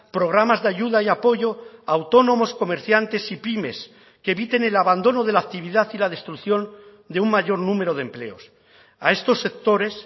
programas de ayuda y apoyo a autónomos comerciantes y pymes que eviten el abandono de la actividad y la destrucción de un mayor número de empleos a estos sectores